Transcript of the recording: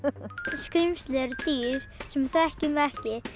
skrímsli eru dýr sem við þekkjum ekki